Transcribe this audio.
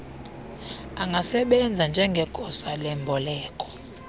angasebenza njngegosa lemboleko